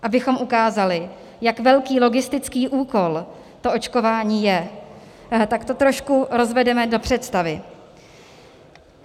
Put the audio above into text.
Abychom ukázali, jak velký logistický úkol to očkování je, tak to trošku rozvedeme do představy.